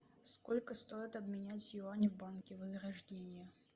сколько стоит обменять юани в банке возрождение